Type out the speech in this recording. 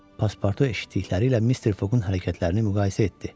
Paspartu eşitdikləri ilə Mister Foqun hərəkətlərini müqayisə etdi.